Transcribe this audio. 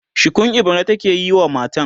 shukun ibira take yi wa matan